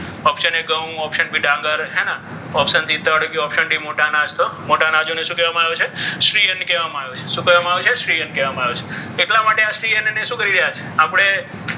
option a ઘઉં ડાંગર એના option d તરીકે મોટા અનાજ મોટા અનાજને શું કહેવાનું છે? શ્રી અન્ન કહેવામાં આવ્યું છે. શું કહેવામાં આવ્યું છે? શ્રી અન્ન કહેવામાં આવ્યું છે. એટલા માટે આ સ્ત્રી અને શ્રી અન્નને શું કરી રહ્યા છે આપણે?